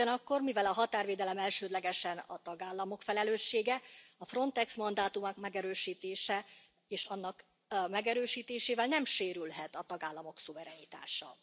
Ugyanakkor, mivel a határvédelem elsődlegesen a tagállamok felelőssége, a Frontex mandátumát megerősítése, és annak megerősítésével nem sérülhet a tagállamok szuverenitása.